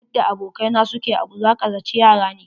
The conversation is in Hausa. Yadda abokai na su ke abu, za ka zaci yara ne.